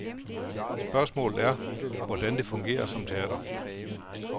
Spørgsmålet er, hvordan det fungerer som teater.